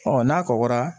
n'a kɔgɔra